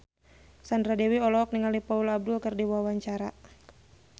Sandra Dewi olohok ningali Paula Abdul keur diwawancara